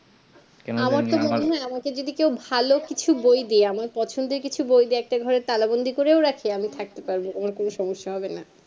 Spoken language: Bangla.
আমাকে যদি কেউ ভালো কিছু বই দেয় আমার পছন্দের কিছু বই দিয়ে একটা ঘরে তালা বন্ধি করে রাখে আমি থাকতে পারবো আমার কোনো সমস্যা হবেনা